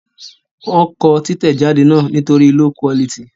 Wọ́n kọ títẹ̀jáde náà nítorí q